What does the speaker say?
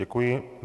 Děkuji.